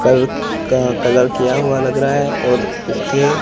कल का कलर किया हुआ लग रहा है और उसके--